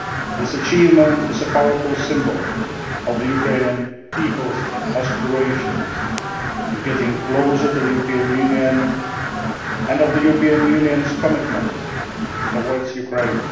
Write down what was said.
signed. This achievement is a powerful symbol of the Ukrainian people's aspirations to get closer to the European Union, and of the European Union's commitment towards